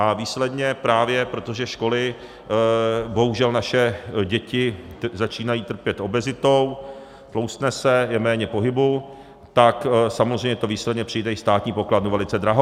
A výsledně právě, protože školy, bohužel naše děti začínají trpět obezitou, tloustne se, je méně pohybu, tak samozřejmě to výsledně přijde i státní pokladnu velice draho.